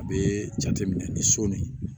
A bɛ jate minɛ ni so nin